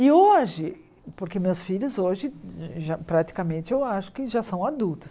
E hoje, porque meus filhos hoje, já praticamente, eu acho que já são adultos.